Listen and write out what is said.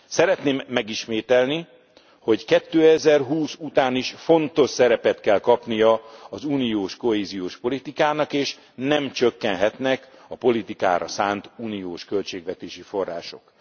Szeretném megismételni, hogy 2020 után is fontos szerepet kell kapnia az uniós kohéziós politikának, és nem csökkenhetnek a politikára szánt uniós költségvetési források.